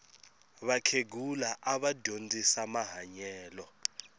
vakhegula ava dyondzisa mahanyelo